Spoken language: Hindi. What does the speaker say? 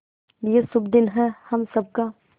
ये शुभ दिन है हम सब का